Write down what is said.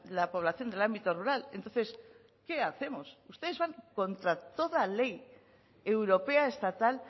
la población del ámbito rural entonces qué hacemos ustedes van contra toda ley europea estatal